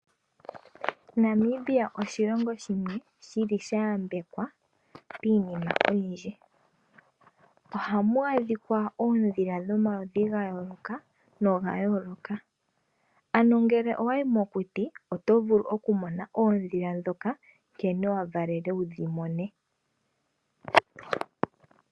Namibia oshilongo shimwe shili shayambekwa miinima oyindji. Ohamu adhika oondhila dhomaludhi ga yooloka noga yooloka. Ano ngele owayi mokuti oto vulu okumona oondhila ndhoka nkene wa valelwe wudhi mone.